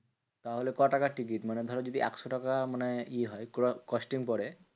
তাহলে ক টাকার টিকিট? মানে ধরো যদি একশো টাকা মানে ই হয় costing পরে